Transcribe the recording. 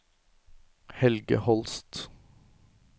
Helge Holst